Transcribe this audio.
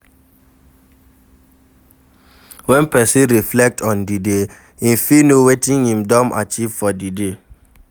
When person reflect on di day, im fit know wetin im don achieve for di day